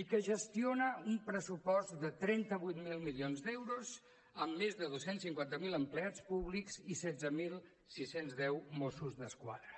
i que gestiona un pressupost de trenta vuit mil milions d’euros amb més de dos cents i cinquanta miler empleats públics i setze mil sis cents i deu mossos d’esquadra